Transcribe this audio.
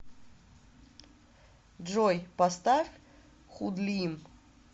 джой поставь худлим